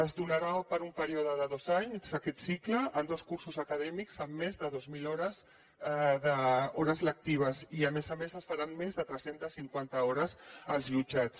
es donarà per un període de dos anys aquest cicle en dos cursos acadèmics amb més de dues mil hores lectives i a més a més es faran més de tres centes cinquanta hores als jutjats